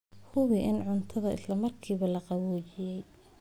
Hubi in cuntada isla markiiba la qaboojiyey.